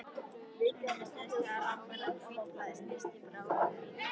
Stundum á sér stað að langvinna hvítblæðið snýst í bráða-hvítblæði.